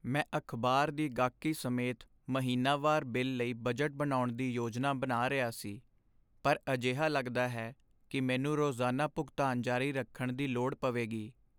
ਮੈਂ ਅਖਬਾਰ ਦੀ ਗਾਹਕੀ ਸਮੇਤ ਮਹੀਨਾਵਾਰ ਬਿੱਲ ਲਈ ਬਜਟ ਬਣਾਉਣ ਦੀ ਯੋਜਨਾ ਬਣਾ ਰਿਹਾ ਸੀ, ਪਰ ਅਜਿਹਾ ਲਗਦਾ ਹੈ ਕਿ ਮੈਨੂੰ ਰੋਜ਼ਾਨਾ ਭੁਗਤਾਨ ਜਾਰੀ ਰੱਖਣ ਦੀ ਲੋੜ ਪਵੇਗੀ।